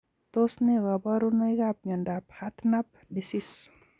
Tos ne kaborunoikap miondop hartnup disease?